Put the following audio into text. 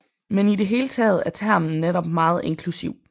Men i det hele taget er termen netop meget inklusiv